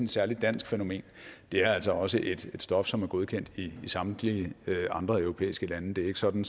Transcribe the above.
særligt dansk fænomen det er altså også et stof som er godkendt i samtlige andre europæiske lande det er ikke sådan